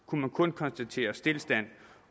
kunne man kun konstatere stilstand